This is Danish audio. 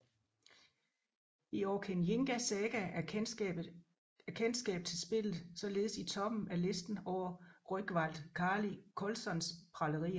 I Orkeyinga saga er kendskab til spillet således i toppen af listen over Rögnvald Kali Kolssons pralerier